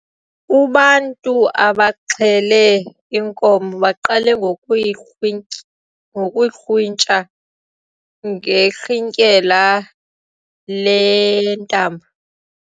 Ubantu abaxhele inkomo baqale ngokuyikrwi ngokuyikrwitsha ngerhintyela lentambo.